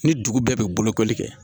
Ni dugu bɛɛ be bolokoli kɛ